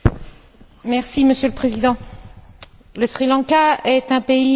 Monsieur le Président, le Sri Lanka est un pays meurtri.